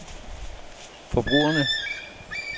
forbrugerne